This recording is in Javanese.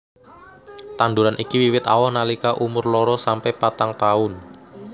Tanduran iki wiwit awoh nalika umur loro sampe patang taun